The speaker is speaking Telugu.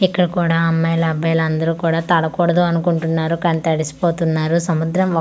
ఇక్కడ కూడా అమ్మాయిలు అబ్బాయిలు అందరు కూడా తడకూడదు అనుకుంటున్నారు కని తడిసిపోతున్నారు సముద్రం--